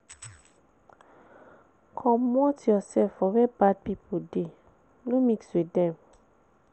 Comot your self for where bad pipo de, no mix with dem